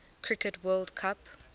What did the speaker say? cricket world cup